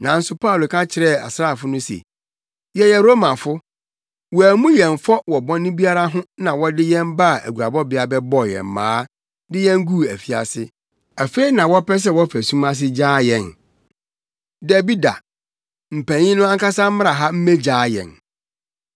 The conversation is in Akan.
Nanso Paulo ka kyerɛɛ asraafo no se, “Yɛyɛ Romafo. Wɔammu yɛn fɔ wɔ bɔne biara ho na wɔde yɛn baa aguabɔbea bɛbɔɔ yɛn mmaa, de yɛn guu afiase. Afei na wɔpɛ sɛ wɔfa sum ase gyaa yɛn? Dabi da! Mpanyin no ankasa mmra ha mmegyaa yɛn.”